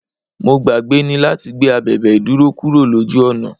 Mo gbàgbé ni láti gbé abèbè ìdúró kúrò lójú ọ̀nà.